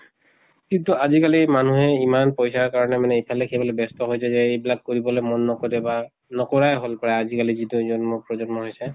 কিন্তু আজি কালি মানুহে ইমান পইচাৰ কাৰণে মানে ইফালে সিফালে ব্য়স্ত হৈ এইবিলাক কৰিবলৈ মন নকৰে বা নকৰাই হল প্ৰায় আজি কালি যিটো জন্ম প্ৰজন্ম হৈছে।